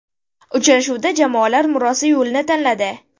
Uchrashuvda jamoalar murosa yo‘lini tanladi.